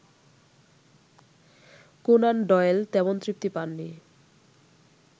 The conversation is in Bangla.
কোন্যান ডয়েল তেমন তৃপ্তি পাননি